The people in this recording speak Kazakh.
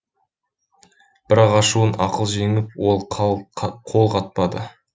бірақ ашуын ақыл жеңіп ол қол қатпады